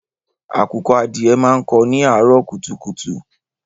Àkùkọ adìẹ máa ń kó ni àárọ̀ kùtùkùtù.